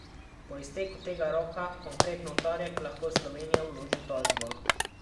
Po izteku tega roka, konkretno v torek, lahko Slovenija vloži tožbo.